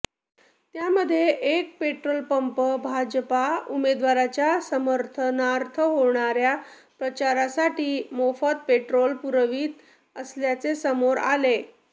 त्यामध्ये एक petrol pump Bhajpa उमेदवाराच्या समर्थनार्थ होणाऱया प्रचारासाठी मोफत पेट्रोल पुरवित असल्याचे समोर आले